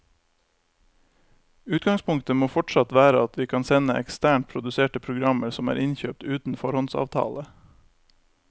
Utgangspunktet må fortsatt være at vi kan sende eksternt produserte programmer som er innkjøpt uten foråndsavtale.